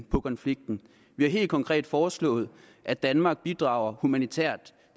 på konflikten vi har helt konkret foreslået at danmark bidrager humanitær